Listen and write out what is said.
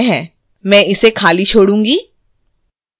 मैं इसे खाली छोडूँगी